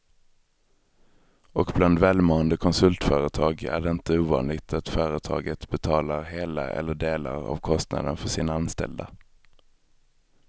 Och bland välmående konsultföretag är det inte ovanligt att företaget betalar hela eller delar av kostnaden för sina anställda.